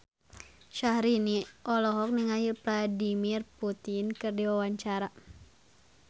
Syahrini olohok ningali Vladimir Putin keur diwawancara